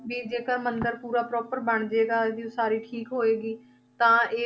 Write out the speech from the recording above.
ਵੀ ਜੇਕਰ ਮੰਦਿਰ ਪੂਰਾ proper ਬਣ ਜਾਏਗਾ ਜੇ ਉਸਾਰੀ ਠੀਕ ਹੋਏਗੀ, ਤਾਂ ਇਹ